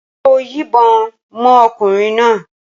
Ṣé o yìnbọn mọ́ ọkùnrin náà?